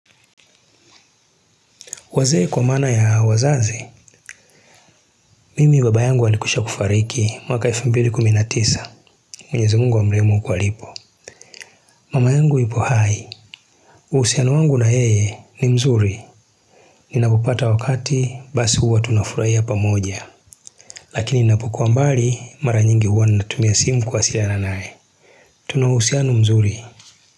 Wazee kwa maana ya wazazi, mimi baba yangu alikwisha kufariki mwaka elfu mbili na kumi na tisa, mwenyezi mungu amrehemu huko alipo. Mama yangu yupo hai, uhusiano wangu na yeye ni mzuri. Ninapopata wakati, basi huwa tunafurahia pamoja, lakini ninapokuwa mbali mara nyingi huwa ninatumia simu kuwasiliana nae. Tuna uhusiano mzuri.